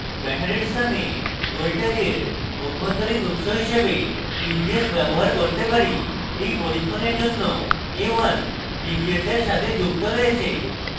ব্যাটারির স্থানে voltage অভ্যন্তরীণ উৎস হিসেবে pvs ব্যবহার করতে পারি in পরীক্ষণের জন্য a1 pvs in সাথে যুক্ত রয়েছে